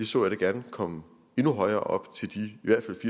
så jeg da gerne komme endnu højere op til de